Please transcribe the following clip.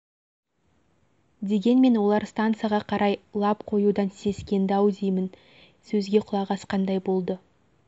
дегенмен олар стансаға қарай лап қоюдан сескенді-ау деймін сөзге құлақ асқандай болды